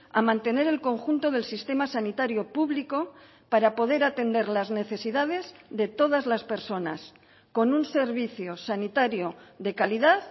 a mantener el conjunto del sistema sanitario público para poder atender las necesidades de todas las personas con un servicio sanitario de calidad